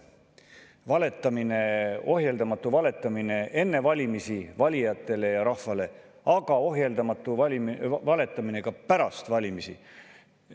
Valetamine, ohjeldamatu valetamine enne valimisi valijatele ja rahvale, aga ohjeldamatu valetamine ka pärast valimisi.